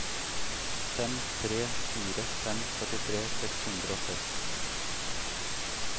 fem tre fire fem førtitre seks hundre og seks